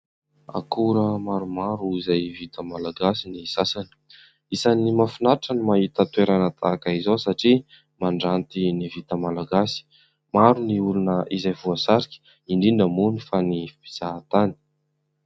Akora maromaro izay vita malagasy ny sasany, isany mahafinatra ny mahita toerana tahaka izao satria mandranty ny vita malagasy. Maro ny olona izay voasarika, indrindra moa ny fa ny mpizahantany.